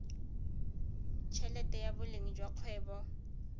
helete ya boleng jwa kgwebo